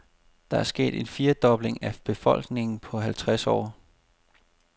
Der er sket en firedobling af befolkningen på halvtreds år.